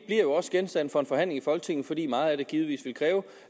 jo også genstand for en forhandling i folketinget fordi meget af det givetvis vil kræve